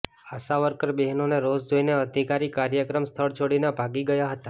આશા worker બહેનોનો રોષ જોઈને અધિકારી કાર્યક્રમ સ્થળ છોડીને ભાગી ગયા હતા